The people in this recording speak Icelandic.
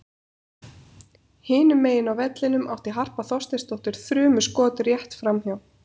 Hinum megin á vellinum átti Harpa Þorsteinsdóttir þrumuskot rétt framhjá.